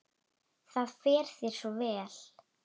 Það fer þér svo vel.